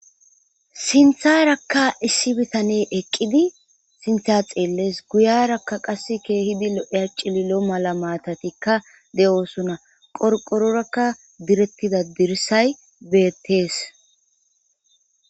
Sinththarakka issi bittaney eqqidi sinththa xelles guyyeraka qasse kehidi lo'iya cillilo mala mattatika de'ossona qorqororaka diiretida dirssay bettes.